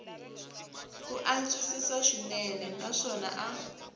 ku antswisiwa swinene naswona a